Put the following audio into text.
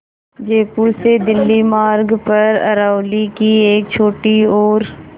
जयपुर से दिल्ली मार्ग पर अरावली की एक छोटी और